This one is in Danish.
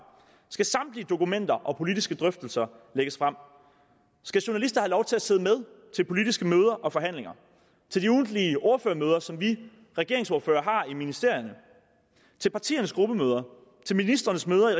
skal samtlige dokumenter og politiske drøftelser lægges frem skal journalister have lov til at sidde med ved politiske møder og forhandlinger til de ugentlige ordførermøder som vi regeringsordførere har i ministerierne til partiernes gruppemøder til ministrenes møder i